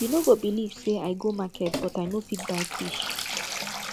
you no go believe say i go market but i no fit buy fish